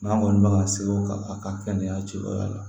N'an kɔni bɛ ka se o kan a ka kɛnɛya cɛyɔrɔ la